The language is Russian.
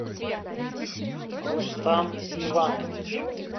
рустам иванович